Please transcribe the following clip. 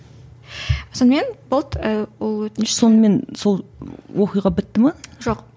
сонымен болды ы ол өтініш сонымен сол оқиға бітті ме жоқ